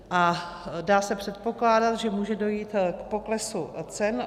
A dá se předpokládat, že může dojít k poklesu cen.